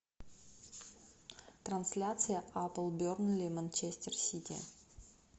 трансляция апл бернли манчестер сити